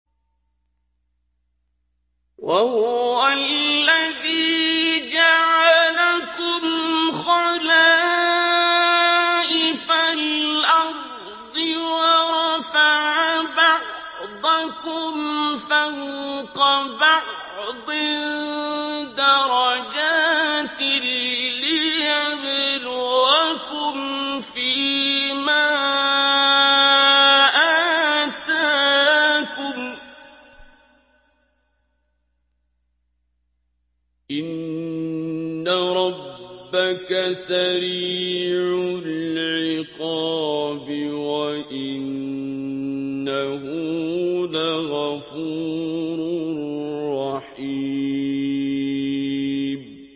وَهُوَ الَّذِي جَعَلَكُمْ خَلَائِفَ الْأَرْضِ وَرَفَعَ بَعْضَكُمْ فَوْقَ بَعْضٍ دَرَجَاتٍ لِّيَبْلُوَكُمْ فِي مَا آتَاكُمْ ۗ إِنَّ رَبَّكَ سَرِيعُ الْعِقَابِ وَإِنَّهُ لَغَفُورٌ رَّحِيمٌ